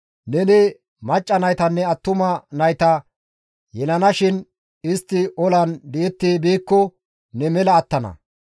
Neni macca naytanne attuma nayta yelanashin istti olan di7etti biikko ne mela attana.